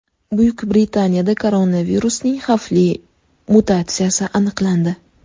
Buyuk Britaniyada koronavirusning xavfli mutatsiyasi aniqlandi.